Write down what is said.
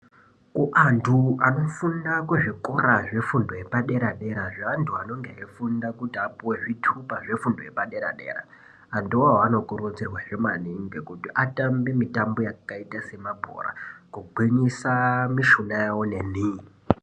Antu anofunda muzvikora zvefundo yepadera dera vantu vanenge veifunda kuti vapuwe zvitupa zvefundo yepadera dera vantuvo vanokurudzirwawo futi kuti Vatambe mitambo yakaita semabhora kugwinyusa mishuna yawo neni.